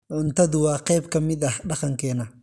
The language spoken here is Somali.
Cuntadu waa qayb ka mid ah dhaqankeena.